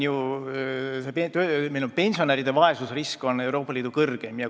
Meil on pensionäride vaesusrisk Euroopa Liidu kõrgeim.